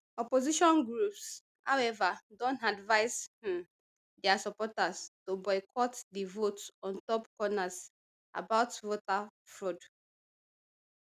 opposition groups however don advise um dia supporters to boycott di vote on top concerns about voter fraud